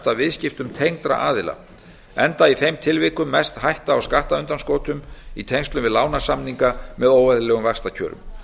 að viðskiptum tengdra aðila enda í þeim tilvikum mest hætta á skattundanskotum í tengslum við lánasamninga með óeðlilegum vaxtakjörum